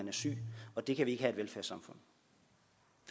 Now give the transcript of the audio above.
en seng og det kan vi ikke have